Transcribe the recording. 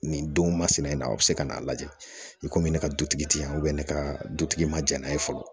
Nin don masina in na a bɛ se ka n'a lajɛ i komi ne ka dutigi ti yan ne ka dutigi ma ja n'a ye fɔlɔ